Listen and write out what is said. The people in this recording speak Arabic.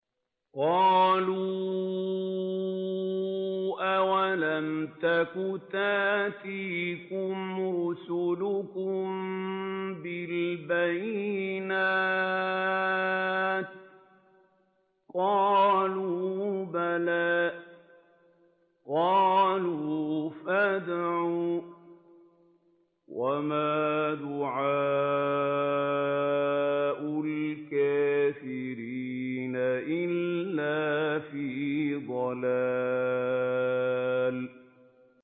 قَالُوا أَوَلَمْ تَكُ تَأْتِيكُمْ رُسُلُكُم بِالْبَيِّنَاتِ ۖ قَالُوا بَلَىٰ ۚ قَالُوا فَادْعُوا ۗ وَمَا دُعَاءُ الْكَافِرِينَ إِلَّا فِي ضَلَالٍ